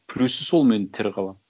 плюсы сол мен тірі қаламын